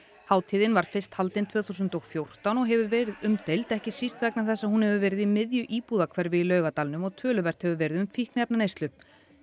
hátíðin var fyrst haldin tvö þúsund og fjórtán og hefur verið umdeild ekki síst vegna þess að hún hefur verið í miðju íbúðarhverfi í Laugardalnum og töluvert hefur verið um fíkniefnaneyslu